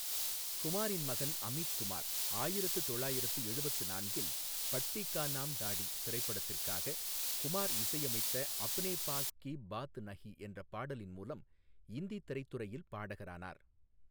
குமாரின் மகன் அமித் குமார் ஆயிரத்து தொள்ளாயிரத்து எழுபத்து நான்கில் பட்தி கா நாம் தாடி திரைப்படத்திற்காகக் குமார் இசையமைத்த அப்னே பாஸ் கி பாத் நஹி என்ற பாடலின் மூலம் இந்தி திரைத்துறையில் பாடகரானார்.